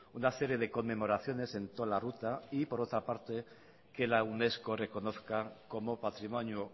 una serie de conmemoraciones en toda la ruta y por otra parte que la unesco reconozca como patrimonio